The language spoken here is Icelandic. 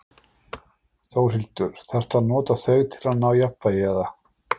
Þórhildur: Þarftu að nota þau til að ná jafnvægi, eða?